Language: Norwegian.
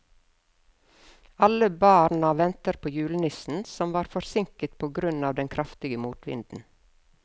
Alle barna ventet på julenissen, som var forsinket på grunn av den kraftige motvinden.